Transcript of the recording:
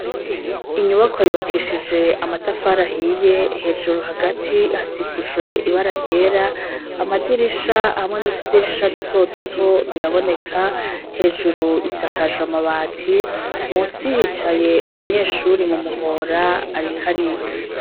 Inyubakwa yubakishije amatafari ahiye hejuru hagati hasikujwe ibara ryera amadirisha hamwe n'utudirisha duto duto biraboneka hejuru isakajwe amabati munsi hicaye umunyeshuri mu muhora ariko ariga.